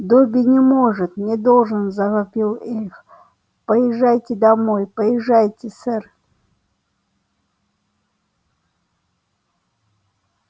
добби не может не должен завопил эльф поезжайте домой поезжайте сэр